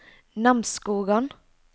Namsskogan